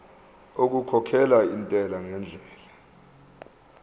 okukhokhela intela ngendlela